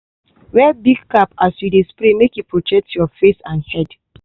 wear big cap as you dey spray make e protect your face and head.